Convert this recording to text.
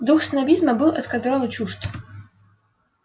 дух снобизма был эскадрону чужд